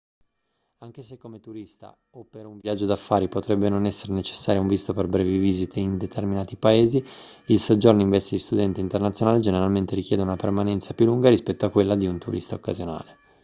anche se come turista o per un viaggio d'affari potrebbe non essere necessario un visto per brevi visite in determinati paesi il soggiorno in veste di studente internazionale generalmente richiede una permanenza più lunga rispetto a quella di un turista occasionale